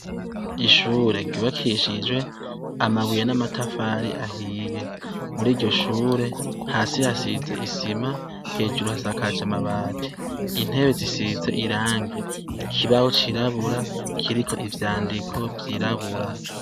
Ishure gibakishijwe amabuye n'amatafari ahiye muri iryo shure hasi hasize isima hejuru hasakaje amabati intebe zisize irangi ikibaho cirabura kiriko ivyandiko vyirabura.